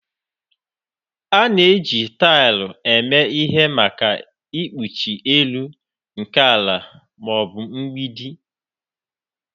A na-eji taịl eme ihe maka ikpuchi elu nke ala ma ọ bụ mgbidi